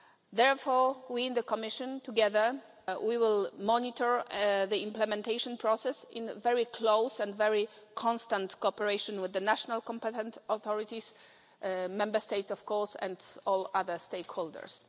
Therefore, we in the Commission, together we will monitor the implementation process in very close and very constant cooperation with the national competent authorities, the Member States of course, and all other stakeholders.